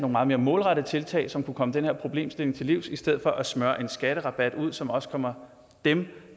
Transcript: meget mere målrettede tiltag som kunne komme den her problemstilling til livs i stedet for at smøre en skatterabat ud som også kommer dem